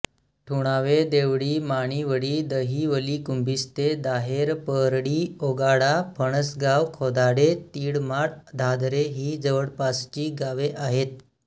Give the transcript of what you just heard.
ठुणावे देवळी माणिवळी दहिवलीकुंभिस्ते दाहेपरळीओगाडा फणसगाव खोदाडे तिळमाळ धाधरे ही जवळपासची गावे आहेत